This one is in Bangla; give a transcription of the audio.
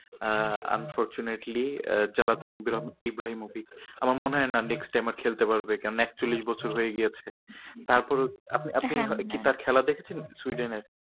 আহ unfortunately আহ জ্লাতান ইব্রাহিমোভিচ আমার মনে হয় না next time আর খেলতে পারবে। কেননা একচল্লিশ বছর হয়ে গিয়েছে তারপরেও আপনি আপনি তার খেলা দেখে ছিলেন সুইডেনের?